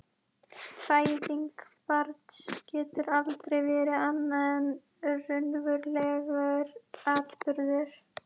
Fæðing barns getur aldrei verið annað en raunverulegur atburður.